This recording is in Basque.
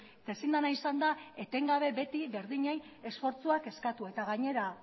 eta ezin dena izan da etengabe beti berdinei esfortzuak eskatu eta gainera